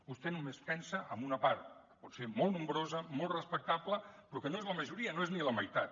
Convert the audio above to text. vostè només pensa en una part potser molt nombrosa molt respectable però que no és la majoria no és ni la meitat